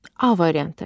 A variantı.